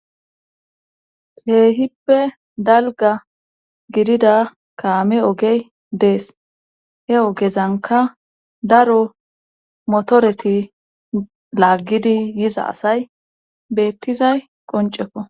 Keehippe dalga gidida kaame ogey dees he ogezanka daro motoreti laaggidi yiza asay beettizay qoncekko.